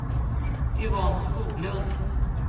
Yvonne Skoglund